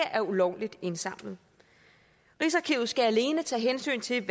er ulovligt indsamlet rigsarkivet skal alene tage hensyn til